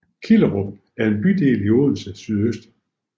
Killerup er en bydel i Odense SØ